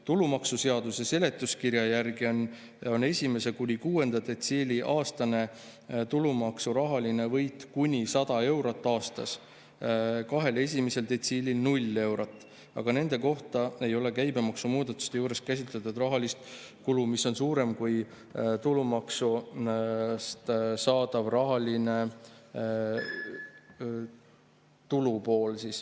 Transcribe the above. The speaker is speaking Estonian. Tulumaksuseaduse seletuskirja järgi on 1. kuni 6. detsiili aastane tulumaksu rahaline võit kuni 100 eurot aastas, kahel esimesel detsiilil 0 eurot, aga nende kohta ei ole käibemaksu muudatuste juures käsitletud rahalist kulu, mis võib olla suurem kui tulumaksumuudatuste rahaline tulu.